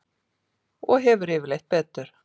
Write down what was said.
Og hefur yfirleitt betur.